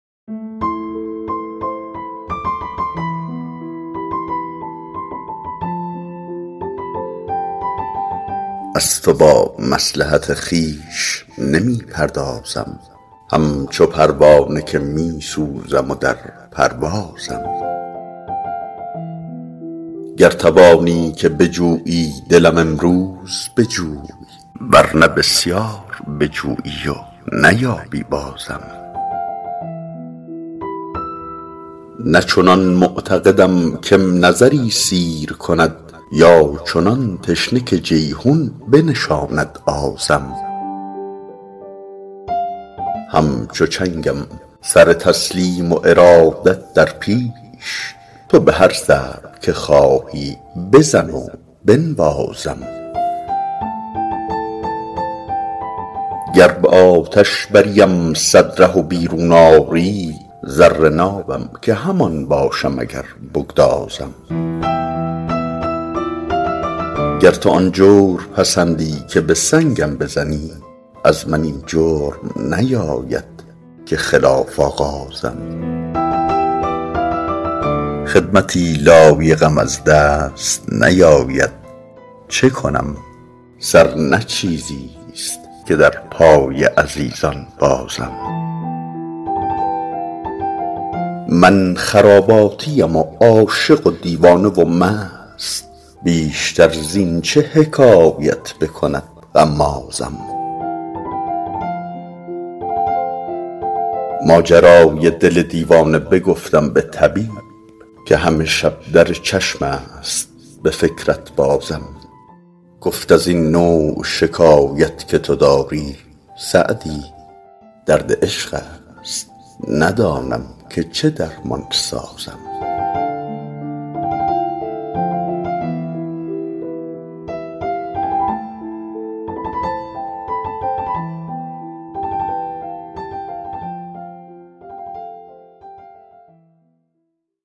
از تو با مصلحت خویش نمی پردازم همچو پروانه که می سوزم و در پروازم گر توانی که بجویی دلم امروز بجوی ور نه بسیار بجویی و نیابی بازم نه چنان معتقدم که م نظری سیر کند یا چنان تشنه که جیحون بنشاند آزم همچو چنگم سر تسلیم و ارادت در پیش تو به هر ضرب که خواهی بزن و بنوازم گر به آتش بریم صد ره و بیرون آری زر نابم که همان باشم اگر بگدازم گر تو آن جور پسندی که به سنگم بزنی از من این جرم نیاید که خلاف آغازم خدمتی لایقم از دست نیاید چه کنم سر نه چیزیست که در پای عزیزان بازم من خراباتیم و عاشق و دیوانه و مست بیشتر زین چه حکایت بکند غمازم ماجرای دل دیوانه بگفتم به طبیب که همه شب در چشم است به فکرت بازم گفت از این نوع شکایت که تو داری سعدی درد عشق است ندانم که چه درمان سازم